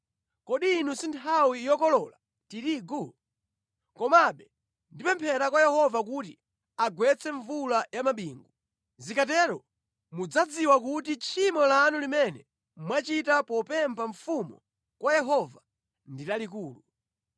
Kodi ino si nthawi yokolola tirigu? Komabe ndipemphera kwa Yehova kuti agwetse mvula ya mabingu. Zikatero mudzadziwa kuti tchimo lanu limene mwachita popempha mfumu kwa Yehova ndi lalikulu.”